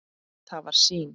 Það var sýn.